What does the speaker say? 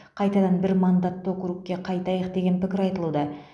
қайтадан бір мандатты округке қайтайық деген пікір айтылуда